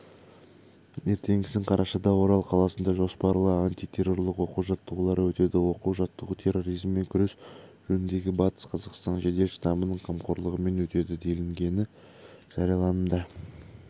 ертеңгісін қарашада орал қаласында жоспарлы антитеррорлық оқу-жаттығулары өтеді оқу-жаттығу терроризммен күрес жөніндегі батыс-қазақстан жедел штабының қамқгорлығымен өтеді делінген жарияланымда